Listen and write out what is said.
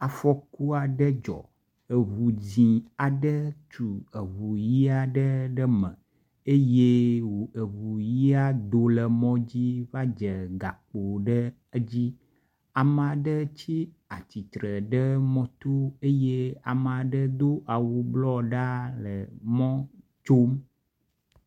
Afɔku aɖe dzɔ. Ŋu dzɛ̃ aɖe tu eŋu ʋia aɖe ɖe eme eye ŋu ʋia do le mɔ dzi va dze gakpo ɖe dzi. Ame aɖe tsi atsitre ɖe mɔto eye ame aɖe do awu blɔ ɖaa le mɔ tsom.